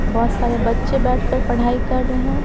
बहुत सारे बच्चे बैठकर पढ़ाई कर रहे हैं।